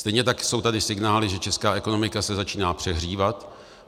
Stejně tak jsou tady signály, že česká ekonomika se začíná přehřívat.